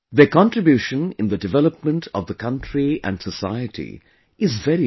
Their contribution in the development of the country and society is very important